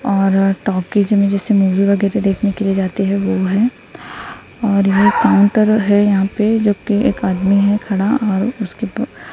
और टॉकीज में जैसे मूवी वगैरह देखने के लिए जाते हैं वो है और यहां काउंटर है यहां पे जो की एक आदमी है खड़ा और उसके पा--